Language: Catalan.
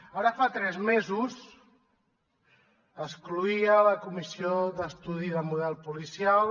ara fa tres mesos es cloïa la comissió d’estudi sobre el model policial